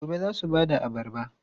Gobe ​​za su ba da abarba?